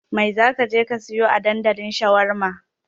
Mai za ka je ka sayo a dandalin shawarma?